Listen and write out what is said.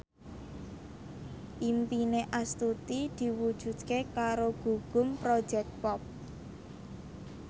impine Astuti diwujudke karo Gugum Project Pop